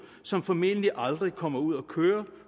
som formentlig aldrig kommer ud at køre